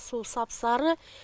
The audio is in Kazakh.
су сап сары